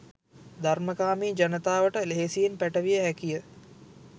ධර්මකාමී ජනතාවට ලෙහෙසියෙන් පැටවිය හැකිය.